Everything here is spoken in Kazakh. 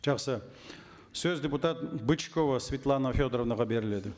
жақсы сөз депутат бычкова светлана федоровнаға беріледі